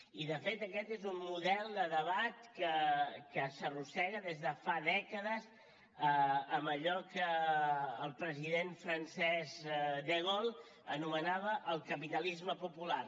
i de fet aquest és un model de debat que s’arrossega des de fa dècades en allò que el president francès de gaulle anomenava el capitalisme popular